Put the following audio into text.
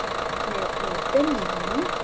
Með opinn munn.